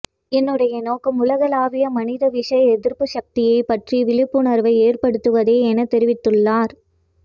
என்னுடைய நோக்கம் உலகலாவிய மனித விஷ எதிர்ப்பு சக்தி பற்றிய விழிப்புணர்வை ஏற்படுத்துவதே என தெரிவித்துள்ளார்